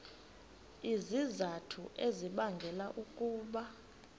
izizathu ezibangela ukuba